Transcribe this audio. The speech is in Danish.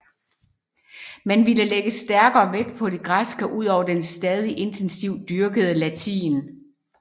Man ville lægge stærkere vægt på det græske ud over den stadig intensivt dyrkede latin